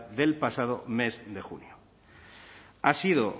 del pasado mes de junio ha sido